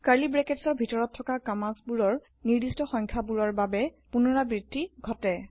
curly ব্ৰেকেটৰ ভিতৰত থকা কম্মান্দবোৰৰ নিৰ্দিষ্ট সংখ্যক বোৰৰ বাবে পুনৰাবৃত্তি ঘতে